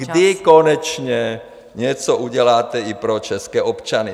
... kdy konečně něco uděláte i pro české občany?